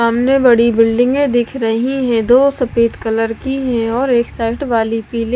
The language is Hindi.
सामने बड़ी बिल्डिंगे दिख रही है दो सफेद कलर की है और एक साइड वाली पीली--